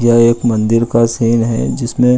यह एक मंदिर का सीन है जिसमे --